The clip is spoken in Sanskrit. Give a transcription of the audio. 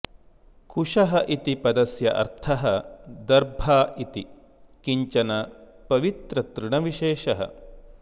कुशः इति पदस्य अर्थः दर्भा इति किञ्चिन पवित्रतृणविशेषः